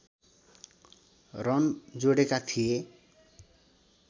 run जोडेका थिए